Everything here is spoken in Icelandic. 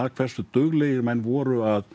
hversu duglegir menn voru að